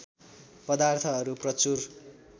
पदार्थहरू प्रचुर